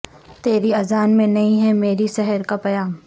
تیری اذان میں نہیں ہے مری سحر کا پیام